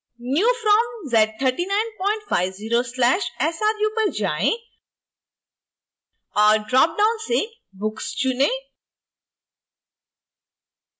new from z3950/sru पर जाएँ और dropdown से books चुनें